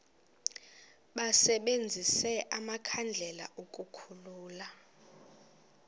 basebenzise amakhandlela ukukhulula